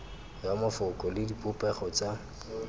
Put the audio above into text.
ya mafoko le dipopego tsa